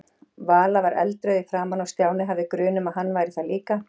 Vala var eldrauð í framan og Stjáni hafði grun um að hann væri það líka.